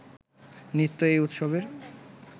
নৃত্য এই উৎসবের